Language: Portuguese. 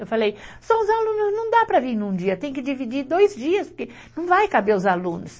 Eu falei, só os alunos, não dá para vir num dia, tem que dividir dois dias, porque não vai caber os alunos.